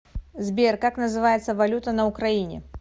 сбер как называется валюта на украине